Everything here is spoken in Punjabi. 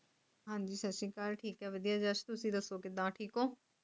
ਹਾਂਜੀ ਸੱਤ ਸ਼੍ਰੀ ਅਕਾਲ ਠੀਕ ਆ ਵਦੀਆ ਜੱਸ ਤੁਸੀਂ ਦੱਸੋ ਕਿੱਦਾਂ ਠੀਕ ਹੋ